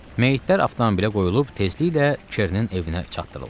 Meyitlər avtomobilə qoyulub tezliklə Kerrinin evinə çatdırıldı.